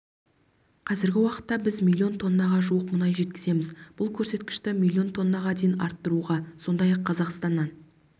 қазіргі уақытта біз млн тоннаға жуық мұнай жеткіземіз бұл көрсеткішті млн тоннаға дейін арттыруға сондай-ақ қазақстаннан